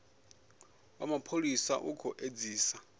wa mapholisa u khou edzisa